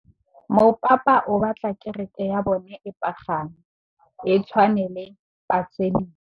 Mopapa o batla kereke ya bone e pagame, e tshwane le paselika.